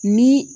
Ni